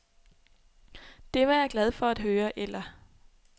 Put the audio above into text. Det var jeg glad for at høre eller.